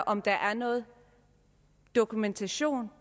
om der er noget dokumentation